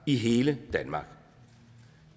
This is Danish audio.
i hele danmark og